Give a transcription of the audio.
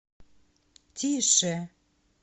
тише